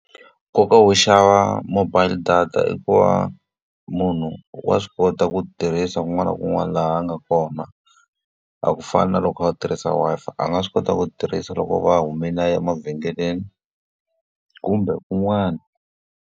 Nkoka wo xava mobile data i ku va munhu wa swi kota ku tirhisa kun'wana na kun'wana laha a nga kona. A ku fani na loko a u tirhisa Wi-Fi, a nga swi kota ku tirhisa loko a va humile a ya emavhengeleni kumbe kun'wani.